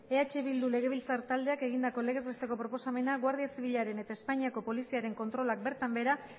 eh bildu legebiltzar taldeak egindako legez besteko proposamena guardia zibilaren eta espainiako poliziaren kontrolak bertan behera